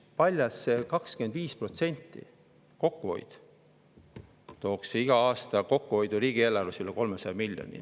Paljalt see 25% tooks iga aasta riigieelarves kokkuhoidu üle 300 miljoni.